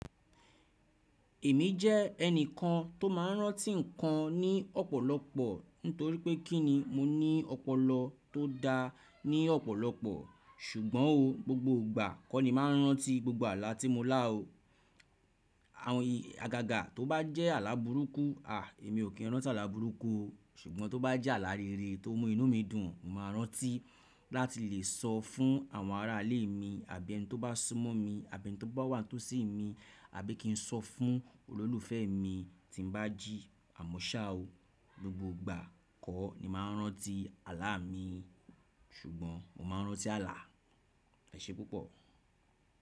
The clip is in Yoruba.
Èmi jẹ́ ẹnìkan tó máa n rántí nǹkan ní ọ̀pọ̀lọpọ̀ ni torípé kí ni mo ní ọpọlọ tó da ní ọ̀pọ̀lọpọ̀ ṣùgbọ́n o gbogbo ìgbà kọ́ ni mo màá n rántí gbogbo àlá tí mo lá o. Àwọn ìyà agàgà tó bá jẹ́ àlá burúkú, à èmi o kín rántí àlá burúkú o ṣùgbọ́n tó bá jẹ́ àlá rere tó mú inú mi dùn, mo máa rántí láti lè sọ fún àwọn ará ilé mi àbí ẹni tó bá sún mọ́ mi, àbí ẹni tó bá wà tó sì mi, àbí kí n sọ fún olólùfẹ́ mi tí n bá jí àmọ́ ṣá o. Gbogbo ìgbà kọ́ ni màá n rántí àlá mi ṣùgbọ́n mo máa n rántí àlá. Ẹ ṣé púpọ̀.